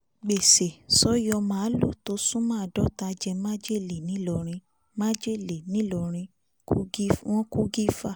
gbèsè sọ́yọ́ máàlù tó súnmọ́ àádọ́ta jẹ́ májèlé ńI lọrìn májèlé ńI lọrìn kogi wọ̀n kù gìfà